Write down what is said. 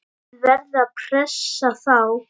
Þið verðið að pressa þá!